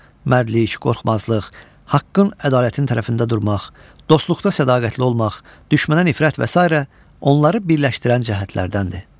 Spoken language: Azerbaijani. Mərdlik, qorxmazlıq, haqqın, ədalətin tərəfində durmaq, dostluqda sədaqətli olmaq, düşmənə nifrət və sairə onları birləşdirən cəhətlərdəndir.